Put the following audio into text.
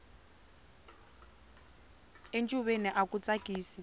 encuveni aku tsakisa